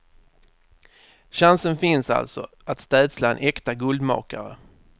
Chansen finns alltså att städsla en äkta guldmakare.